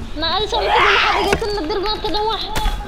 Kordhinta wax soo saarka dalagga waa muhiim.